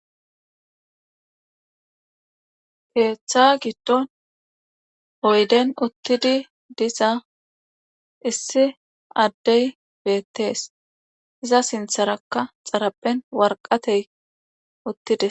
Keeththa giddon oyden uttidi diza issi addey beettees iza sintharakka xaraben warqatey uttide